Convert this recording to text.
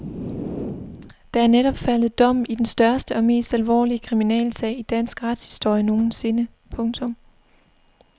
Der er netop faldet dom i den største og mest alvorlige kriminalsag i dansk retshistorie nogensinde. punktum